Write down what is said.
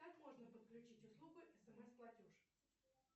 как можно подключить услугу смс платеж